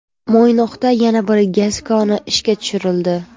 Mo‘ynoqda yana bir gaz koni ishga tushirildi.